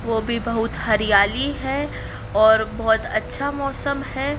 वह भी बहुत हरियाली है और बहोत अच्छा मौसम है।